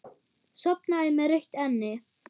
Sofnaði með rautt enni.